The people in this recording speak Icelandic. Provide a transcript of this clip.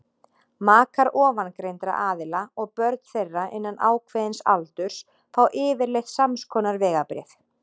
makar ofangreindra aðila og börn þeirra innan ákveðins aldurs fá yfirleitt samskonar vegabréf